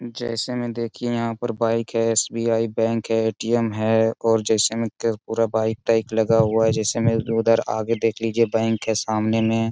जैसे में देखिए यहां पर बाइक है एस.बी.आई. बैंक है ए.टी.एम. है और जैसे में त पूरा बाइक टाइप लगा हुआ है। जैसे में उधर आगे देख लीजिए बैंक है सामने में।